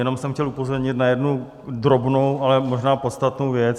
Jenom jsem chtěl upozornit na jednu drobnou, ale možná podstatnou věc.